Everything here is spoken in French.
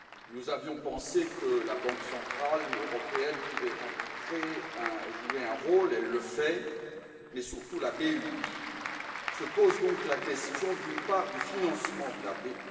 Nous avions pensé que la Banque centrale européenne pouvait jouer un rôle elle le fait mais surtout la BEI. Se pose donc la question d'une part du financement de la BEI.